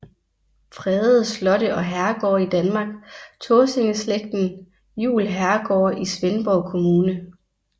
Fredede slotte og herregårde i Danmark Tåsinge Slægten Juel Herregårde i Svendborg Kommune